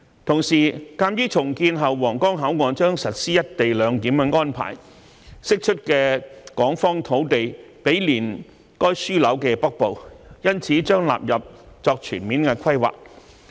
同時，鑒於重建後皇崗口岸將實施"一地兩檢"安排，釋出港方土地毗連該樞紐的北部，所以將納入作全面規劃。